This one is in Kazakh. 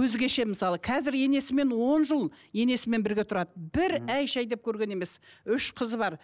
өзгеше мысалы қазір енесімен он жыл енесімен біргі тұрады бір әй шәй деп көрген емес үш қызы бар